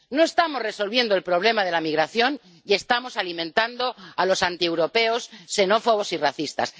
No estamos resolviendo el problema de la migración y estamos alimentando a los antieuropeos, xenófobos y racistas.